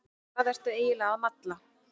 Hvað ertu eiginlega að malla?